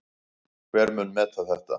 Hver mun meta þetta?